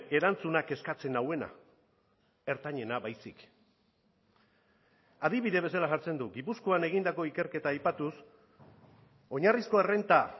erantzuna kezkatzen nauena ertainena baizik adibide bezala jartzen du gipuzkoan egindako ikerketa aipatuz oinarrizko errenta